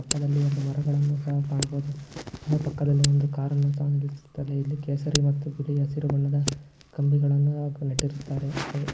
ಪಕ್ಕದಲ್ಲಿ ಒಂದು ಮರಗಳನ್ನು ಸಹ ಕಾಣಬೋದು ಅಲ್ಲೇ ಪಕ್ಕದಲ್ಲಿ ಒಂದು ಕಾರನ್ನು ಸಹ ನಿಲ್ಲಿಸುತ್ತಾರೆ ಇಲ್ಲಿ ಕೇಸರಿ ಮತ್ತು ಬಿಳಿ ಹಸಿರು ಬಣ್ಣದ ಕಂಬಿಗಳನ್ನು ನೆಟ್ಟಿರುತ್ತಾರೆ.